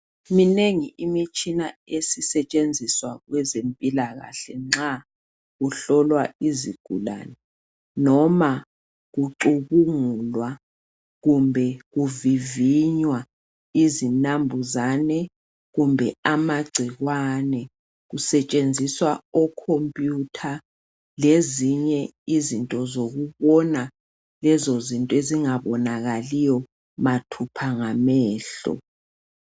Minengi imitshina esisetshenziswa kwezempilakahle nxa kuhlolwa izigulane noma kucubungulwa kumbe kuvivinywa izinambuzane kumbe amagcikwane kusetshenziswa o computer lezinye izinto zokubona lezizinto ezingabonakaliyo mathupha ngamehlo.